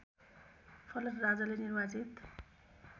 फलत राजाले निर्वाचित